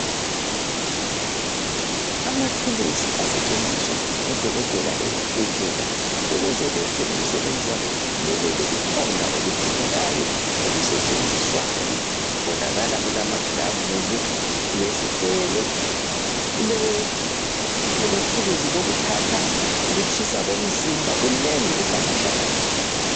Amathuluzi asetshenziswa ngodokotela ezibhedlela. Ukuze benze imisebenze yabo iphumelele kukhona okudingekayo okusetshenziswayo. Kubonakala kulamagilavusi, kulesigelo, kulethuluzi lokuthatha ukutshisa komzimba, kunengi kuhlangahlangene.